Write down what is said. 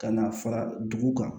Ka na fara dugu kan